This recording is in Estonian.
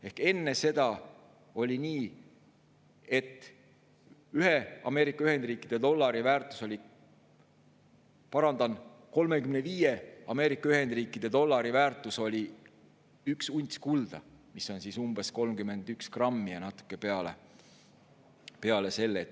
Ehk enne seda oli nii, et 35 Ameerika Ühendriikide dollari väärtus oli 1 unts kulda, mis on umbes 31 grammi ja natuke peale selle.